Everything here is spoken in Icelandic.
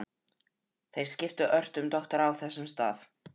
Þeir skiptu ört um doktora á þessum stað.